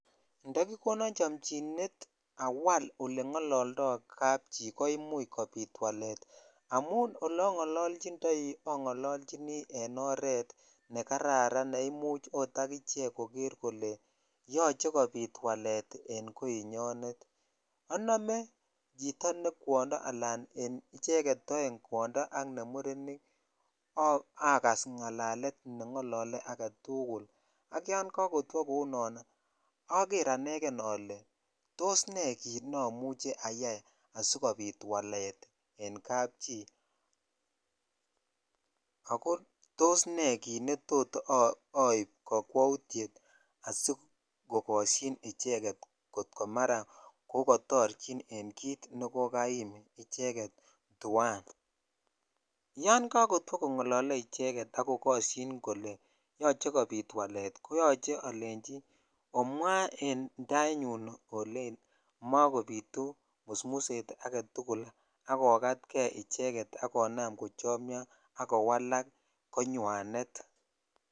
Ndo kikonon chomchinet awal olengololdo kapchi koimuch kobit walet amun olongololjindoi, ongololjini en oret nekararan neimuch oot akichek kole yoche kobit walet en koinyonet onome chito ne kwondo alan en icheket oeng kwondo ak nemurenik akas ngalalet nengolole aketugul, ak yon kokotwo kounon oker anegen ole tos nee neomuche ayai asikobit walet en kapchi, ako tos nee kit netot oib kokwoutiet asikogokoshin icheket kot komara kokotorjin en kit nekokaim icheket tuan, yon kokotwo kongolole icheket ak kokoshin kole yoche kobit walet, koyoche olenji omwaa en tainyun olen mokobitu musmuset aketugul akokatkee icheket akonam kochomio ak kowalak konywanet.